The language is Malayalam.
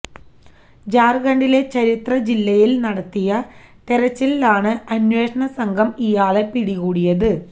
ഝാര്ഖണ്ഡിലെ ഛത്ര ജില്ലയില് നടത്തിയ തെലച്ചിലിലാണ് അന്വേഷണ സംഘം ഇയാളെ പിടികൂടിയത്